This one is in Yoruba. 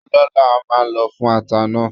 Ọlọ là máà lo fún ata náà